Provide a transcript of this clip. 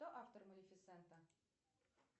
кто автор малифисента